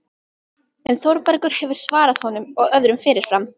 En Þórbergur hefur svarað honum og öðrum fyrirfram